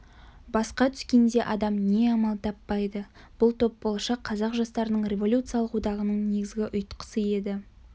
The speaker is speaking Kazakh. басқа түскенде адам не амал таппайды бұл топ болашақ қазақ жастарының революциялық одағының негізгі ұйтқысы еді